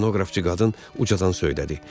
Stenoqrafçı qadın ucadan söylədi.